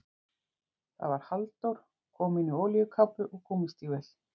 Það var Halldór, kominn í olíukápu og gúmmístígvél.